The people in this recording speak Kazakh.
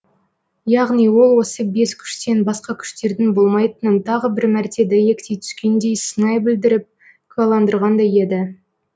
яғни ол осы бес күштен басқа күштердің болмайтынын тағы бір мәрте дәйектей түскендей сыңай білдіріп куәландырғандай еді